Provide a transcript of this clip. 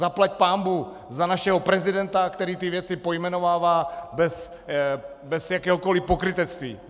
Zaplať pánbůh za našeho prezidenta, který ty věci pojmenovává bez jakéhokoli pokrytectví.